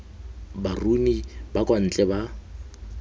baruni ba kwa ntle ba